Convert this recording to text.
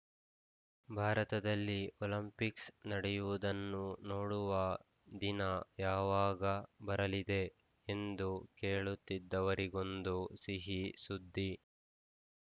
ಭಾರತದಲ್ಲಿ ಒಲಿಂಪಿಕ್ಸ್‌ ನಡೆಯುವುದನ್ನು ನೋಡುವ ದಿನ ಯಾವಾಗ ಬರಲಿದೆ ಎಂದು ಕೇಳುತ್ತಿದ್ದವರಿಗೊಂದು ಸಿಹಿ ಸುದ್ದಿ